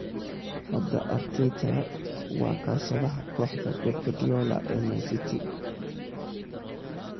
Hadda Arteta waa kaashadaha kooxda Pep Guardiola ee Manchester City.